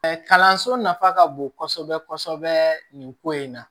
kalanso nafa ka bon kosɛbɛ kosɛbɛ nin ko in na